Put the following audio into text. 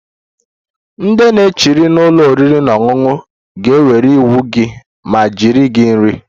Ndị na-echere Na ụlọ oriri na ọṅụṅụ ga-ewere iwu gị ma jeere gị nri